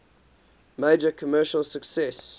major commercial success